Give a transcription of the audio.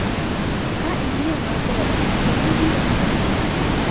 Ka ing’iyo maber to ibiro nene.